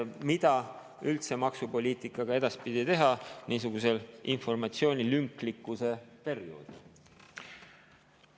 Ja mida üldse maksupoliitikaga edaspidi teha niisugusel informatsiooni lünklikkuse perioodil?